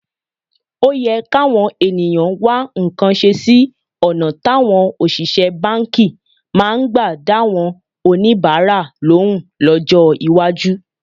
Ó yẹ káwọn ènìyàn wá nǹkan ṣe sí ọ̀nà táwọn òṣìṣẹ́ báǹkì máa gbà dáwọn oníbàárà lóhùn lọ́jọ́ iwájú